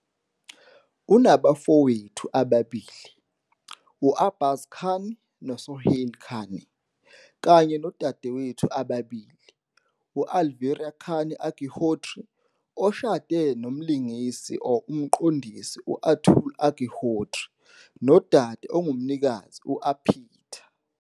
Unabafowethu ababili, u-Arbaaz Khan noSohail Khan, kanye nodadewethu ababili, u-Alvira Khan Agnihotri, oshade nomlingisi or umqondisi u-Atul Agnihotri, nodade ongumnikazi u-Arpita.